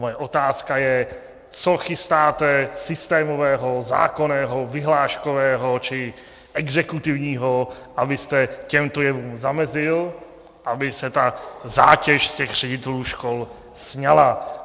Moje otázka je, co chystáte systémového, zákonného, vyhláškového či exekutivního, abyste těmto jevům zamezil, aby se ta zátěž z těch ředitelů škol sňala.